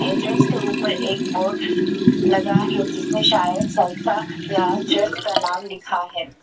Entrance के ऊपर एक बोर्ड लगा है जिसमें शायद संस्था या चर्च का नाम लिखा है।